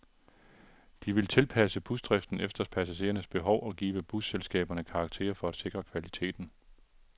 De vil tilpasse busdriften efter passagerernes behov og give busselskaberne karakterer for at sikre kvaliteten.